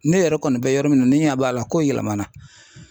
Ne yɛrɛ kɔni bɛ yɔrɔ min na ne ɲɛ b'a la kow yɛlɛmana .